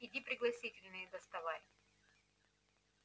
иди пригласительные доставай